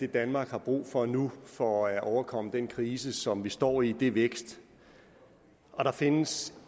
danmark har brug for nu for at overkomme den krise som vi står i er vækst og der findes